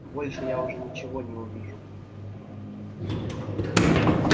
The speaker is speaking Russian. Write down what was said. больше я уже ничего не увижу